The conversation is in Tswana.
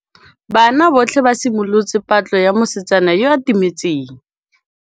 Banna botlhê ba simolotse patlô ya mosetsana yo o timetseng.